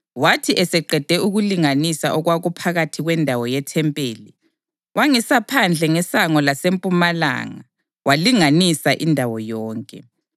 Wathi eseqede ukulinganisa okwakuphakathi kwendawo yethempeli, wangisa phandle ngesango lasempumalanga walinganisa indawo yonke.